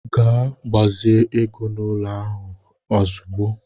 Ga gbazi ego n'ụlọ ahụ ahụ ozugbo!